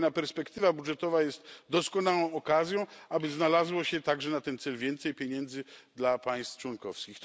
Kolejna perspektywa budżetowa jest doskonałą okazją, aby znalazło się także na ten cel więcej pieniędzy dla państw członkowskich.